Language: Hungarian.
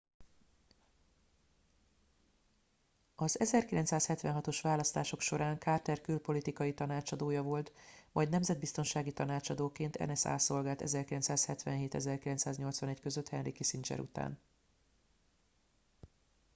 az 1976-os választások során carter külpolitikai tanácsadója volt majd nemzetbiztonsági tanácsadóként nsa szolgált 1977-1981 között henry kissinger után